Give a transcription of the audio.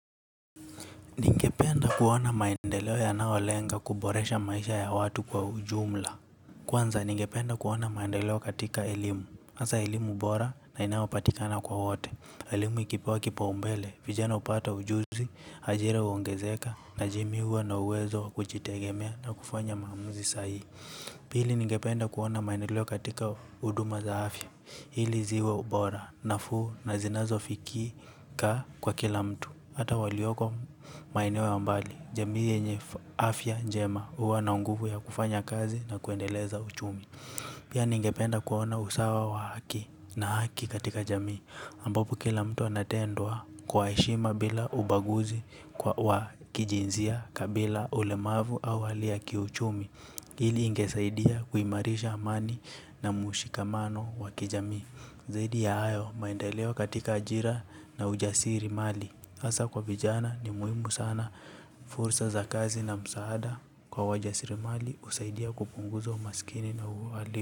Ningependa kuona maendeleo ya nao lenga kuboresha maisha ya watu kwa ujumla. Kwanza ningependa kuona maendeleo katika elimu. Asa elimu bora na inaopatikana kwa wote elimu ikipewa kipao mbele, vijana upata ujuzi, hajira uongezeka, najimiwa na uwezo kuchitegemea na kufanya maamuzi sahi. Pili ningependa kuona maendeleo katika uduma za afia. Hili ziwe ubora, nafu na zinazo fikika kwa kila mtu. Hata walioko maenewo wa mbali jamiye nye afya njema. Uwa na nguvu ya kufanya kazi na kuendeleza uchumi. Pia ningependa kuona usawa wa haki na haki katika jami ambapo kila mtu anatendwa kwaeshima bila ubaguzi. Kwa kijinzia kabila ulemavu au hali ya kiuchumi. Hili ingesaidia kuimarisha amani na mushikamano wa kijami. Zaidi ya ayo maendelewo katika ajira na ujasiri mali asa kwa vijana ni muimu sana fursa za kazi na msaada kwa waja sirimali usaidia kupunguza umasikini na uwali.